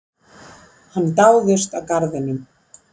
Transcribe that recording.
Hann dáðist að garðinum.